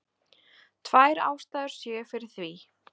Tvær ástæður séu fyrir því